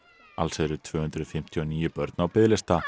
alls eru tvö hundruð fimmtíu og níu börn á biðlista